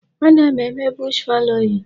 Ana m eme bush fallowing.